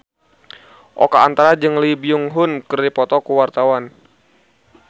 Oka Antara jeung Lee Byung Hun keur dipoto ku wartawan